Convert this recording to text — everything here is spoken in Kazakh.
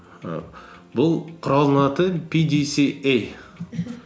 і бұл құралдың аты пидисиэй мхм